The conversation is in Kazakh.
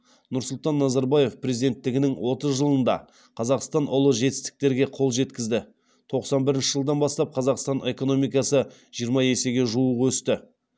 нұрсұлтан назарбаев президенттігінің отыз жылында қазақстан ұлы жетістіктерге қол жеткізді тоқсан бірінші жылдан бастап қазақстан экономикасы жиырма есеге жуық өсті